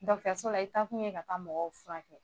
Dɔgɔtɔrɔso la i' taakun ye ka taa mɔgɔw furakɛ